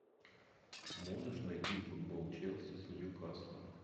можешь найти футбол челси с ньюкаслом